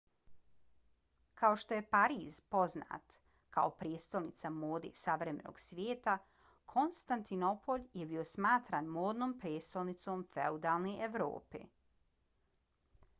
kao što je pariz poznat kao prijestolnica mode savremenog svijeta konstantinopolj je bio smatran modnom prijestolnicom feudalne evrope